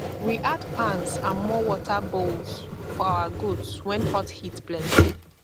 we add fans and more water bowls for our goats when hot heat plenty